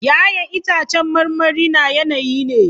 Ya'yan itãcen marmari na yanayi ne.